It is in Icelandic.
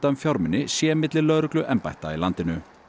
um fjármuni sé milli lögregluembætta í landinu